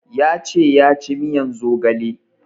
Ya ce ya ci miyan zogale